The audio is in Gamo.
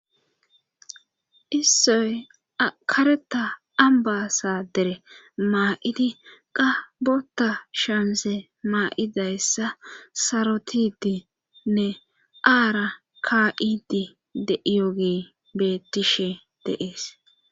Issoy kareta ambasa dere maa7idi qabota shonse maa7idayssa sarotidinne aara kaidi de iyogee betishe deees.